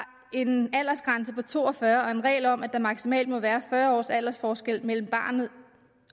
en aldersgrænse på to og fyrre år og en regel om at der maksimalt må være fyrre års aldersforskel mellem barnet